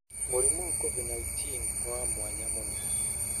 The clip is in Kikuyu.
Mũrimũ wa Covid-19 nĩ wa mwanya mũno".